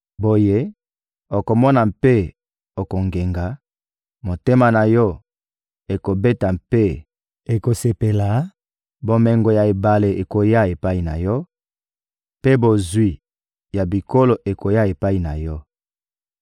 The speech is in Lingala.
Boye, okomona mpe okongenga, motema na yo ekobeta mpe ekosepela; bomengo ya ebale ekoya epai na yo, mpe bozwi ya bikolo ekoya epai na yo.